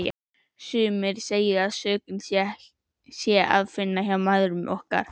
Sumir segja að sökina sé að finna hjá mæðrum okkar.